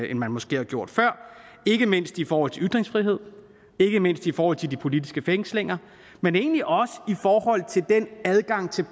end man måske har gjort før ikke mindst i forhold til ytringsfrihed ikke mindst i forhold til de politiske fængslinger men egentlig også i forhold til den adgang til